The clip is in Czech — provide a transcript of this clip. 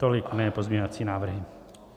Tolik mé pozměňovací návrhy.